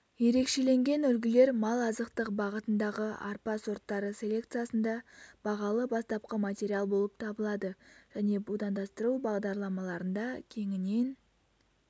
ерекшеленген үлгілер мал азықтық бағытындағы арпа сорттары селекциясында бағалы бастапқы материал болып табылады және будандастыру бағдарламаларында кеңінен